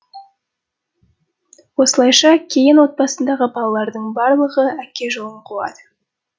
осылайша кейін отбасындағы балалардың барлығы әке жолын қуады